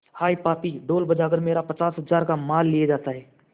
हाय पापी ढोल बजा कर मेरा पचास हजार का माल लिए जाता है